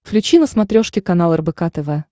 включи на смотрешке канал рбк тв